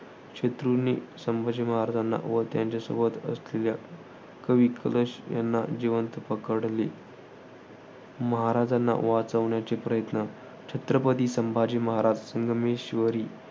शत्रूने संभाजीमहाराजांना व त्यांच्यासोबत असलेल्या कवि कलश यांना जिवंत पकडले. महाराजांना वाचवण्याचे प्रयत्न. छत्रपती संभाजी महाराज संगमेश्वरी